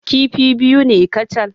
Kifi biyu ne kacal.